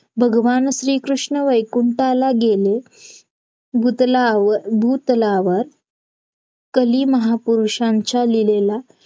त्यांचा जो form आहे ना तो परत नव्याने ओपन form ओपन झाला की परत नवीन apply टाकून नवीन account टाकून दहा हजाराचा लोन आपण apply